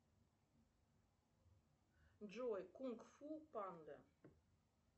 джой кунг фу панда